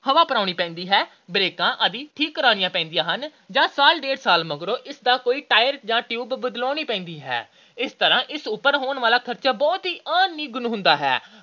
ਹਵਾ ਭਰਾਉਣੀ ਪੈਂਦੀ ਹੈ। ਬ੍ਰੇਕਾਂ ਆਦਿ ਠੀਕ ਕਰਾਉਣੀਆਂ ਪੈਂਦੀਆਂ ਹਨ ਜਾਂ ਸਾਲ – ਡੇਢ ਸਾਲ ਮਗਰੋਂ ਇਸ ਦਾ ਕੋਈ tire ਜਾਂ tube ਬਦਲਾਉਣੀ ਪੈਂਦੀ ਹੈ। ਇਸ ਤਰ੍ਹਾਂ ਇਸ ਉੱਪਰ ਹੋਣ ਵਾਲਾ ਖਰਚ ਬਹੁਤ ਹੀ ਨਿਗੁਣਾ ਜਿਹਾ ਹੁੰਦਾ ਹੈ,